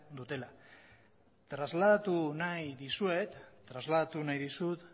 dutela trasladatu nahi dizut